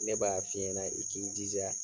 Ne b'a f'i ɲɛnɛ i k'i jija.